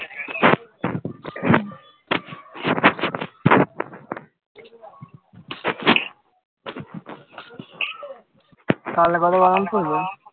তাহলে বরং বারণ করবো